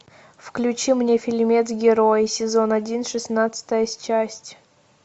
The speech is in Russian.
включи мне фильмец герой сезон один шестнадцатая часть